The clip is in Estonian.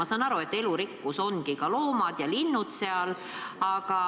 Ma saan aru, et elurikkus hõlmab ka metsas elavaid loomi ja linde.